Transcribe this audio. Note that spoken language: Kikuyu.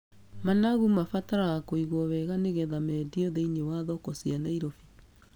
Managu mabataraga kũigwo wega nĩgetha mendio thĩiniĩ wa thoko cia Nairobi.